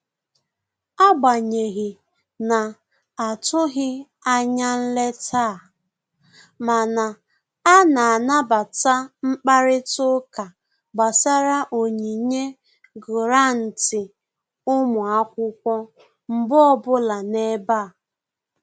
Agbanyeghị na-atụghị anya nleta a, mana a na-anabata mkparịta ụka gbasara onyinye gụrantị ụmụ akwụkwọ mgbe ọbụla n'ebe a